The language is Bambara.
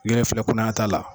I yɛrɛ filɛ kunaya t'a la.